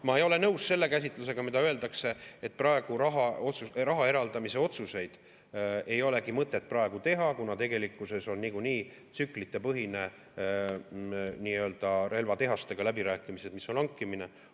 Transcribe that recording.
Ma ei ole nõus selle käsitlusega, mida öeldakse, et praegu raha eraldamise otsuseid ei ole mõtet teha, kuna tegelikkuses on nagunii tsüklitepõhised relvatehastega läbirääkimised, kui tegu on hankimisega.